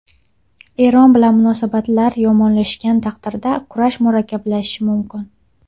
Eron bilan munosabatlar yomonlashgan taqdirda kurash murakkablashishi mumkin.